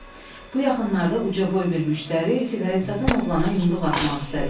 "Bu yaxınlarda ucaboy bir müştəri siqaret satan oğlana yumruq atmaq istədi."